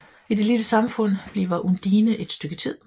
I dette lille samfund bliver Undine et stykke tid